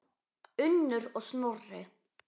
Unnur og Snorri.